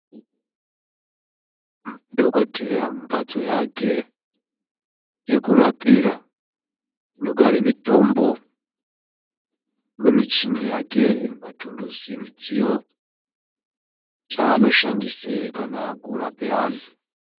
Dhogodheya mumhatso yake yekurapira inogare mitombo nemichini yake nematuluzi ,midziyo zvaanoshandise kana akurape antu.